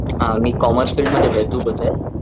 हा मी commerce field मध्ये तू कुठे?